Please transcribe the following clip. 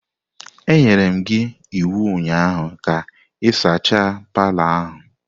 Enyere m gi iwu ụnyaahụ ka ị sachaa palọ ahụ!